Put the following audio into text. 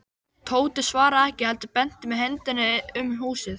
Tóti svaraði ekki heldur benti með hendinni um húsið.